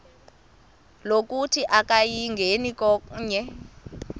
lokuthi akayingeni konke